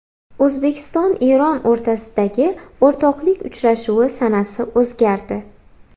O‘zbekiston Eron o‘rtasidagi o‘rtoqlik uchrashuvi sanasi o‘zgardi.